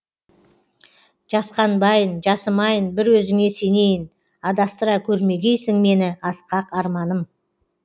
жасқанбайын жасымайын бір өзіңе сенейін адастыра көрмегейсің мені асқақ арманым